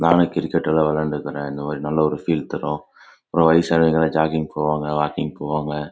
நாளைக்கு கிரிக்கெட் விளையாடுறேன் ஒரு நல்ல பீல் தரும் இங்க வய சானவங்க ஜாகிங் போவாங்க